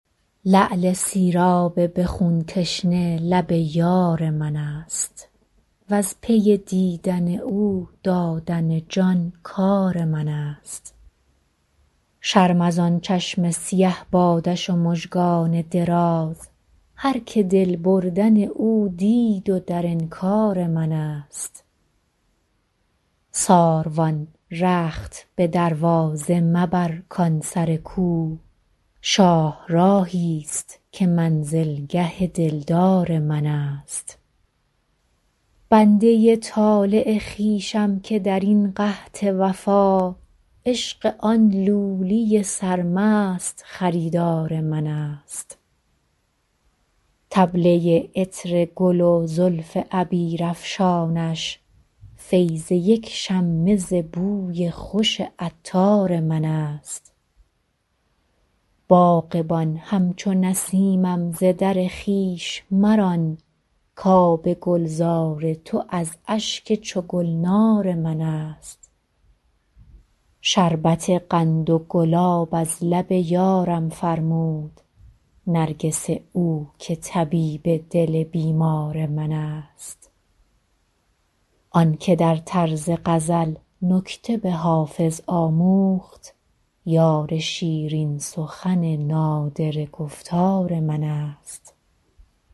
لعل سیراب به خون تشنه لب یار من است وز پی دیدن او دادن جان کار من است شرم از آن چشم سیه بادش و مژگان دراز هرکه دل بردن او دید و در انکار من است ساروان رخت به دروازه مبر کان سر کو شاهراهی ست که منزلگه دلدار من است بنده ی طالع خویشم که در این قحط وفا عشق آن لولی سرمست خریدار من است طبله ی عطر گل و زلف عبیرافشانش فیض یک شمه ز بوی خوش عطار من است باغبان همچو نسیمم ز در خویش مران کآب گلزار تو از اشک چو گلنار من است شربت قند و گلاب از لب یارم فرمود نرگس او که طبیب دل بیمار من است آن که در طرز غزل نکته به حافظ آموخت یار شیرین سخن نادره گفتار من است